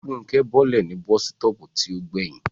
Fúnkẹ́ bọ́lẹ̀ ní bọ́sítọ̀ọ̀pù tí ó gbẹ̀yìn